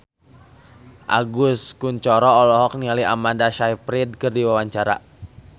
Agus Kuncoro olohok ningali Amanda Sayfried keur diwawancara